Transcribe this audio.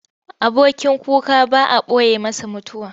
Abokin kuka ba a ɓoye masa mutuwa.